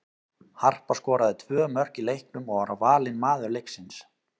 Harpa skoraði tvö mörk í leiknum og var valin maður leiksins.